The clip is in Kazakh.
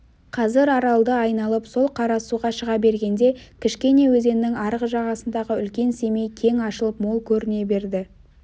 қазір аралды айналып сол қарасуға шыға бергенде кішкене өзеннің арғы жағасындағы үлкен семей кең ашылып мол көріне берді